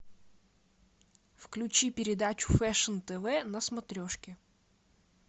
включи передачу фэшн тв на смотрешке